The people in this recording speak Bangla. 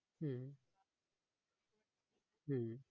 হম হম